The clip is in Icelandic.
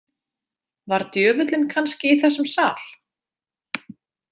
Var djöfullinn kannski í þessum sal?